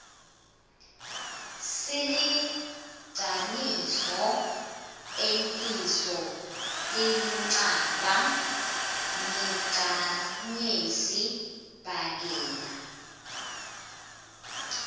silinqanido etinso dinqaba niqanyesi bhakela